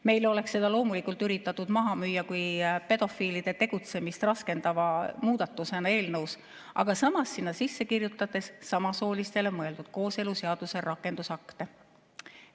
Meile oleks seda loomulikult üritatud maha müüa kui pedofiilide tegutsemist raskendava muudatusena, aga samas sisse kirjutatud samasoolistele mõeldud kooseluseaduse rakendusaktid.